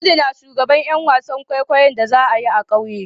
Audu na shugaban Yan wasan kwaikwayo'n da za'a yi a'kauye.